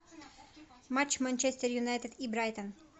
матч манчестер юнайтед и брайтон